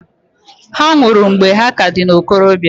Ha nwụrụ mgbe ha ka dị n'okorobia.